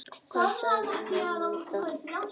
Hvað segja menn um það?